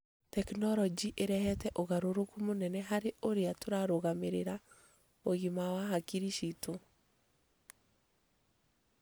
Tekinoronjĩ ĩrehete ũgarũrũku mũnene harĩ ũrĩa tũrarũgamĩrĩra ũgima wa hakiri ciitu.